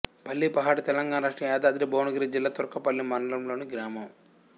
పల్లిపహాడ్ తెలంగాణ రాష్ట్రం యాదాద్రి భువనగిరి జిల్లా తుర్కపల్లి మండలంలోని గ్రామం